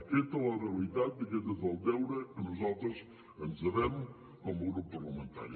aquesta és la realitat i aquest és el deure a què nosaltres ens devem com a grup parlamentari